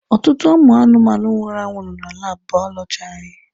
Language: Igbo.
Ọtụtụ ụmụ anụmanụ nwụrụ anwụ nọ na laabụ baọlọjị anyị.